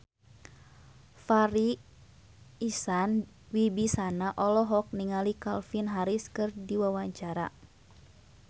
Farri Icksan Wibisana olohok ningali Calvin Harris keur diwawancara